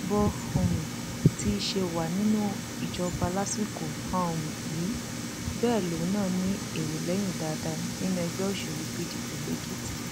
bó um ti ṣẹ wá nínú ìjọba lásìkò um yìí bẹẹ lòun náà ní èrò lẹyìn dáadáa nínú ẹgbẹ òṣèlú pdp lẹkìtì